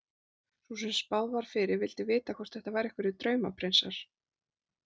Sú sem spáð var fyrir vildi þá vita hvort þetta væru einhverjir draumaprinsar.